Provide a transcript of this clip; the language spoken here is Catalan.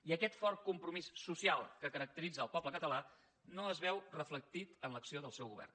i aquest fort compromís social que caracteritza el poble català no es veu reflectit en l’acció del seu govern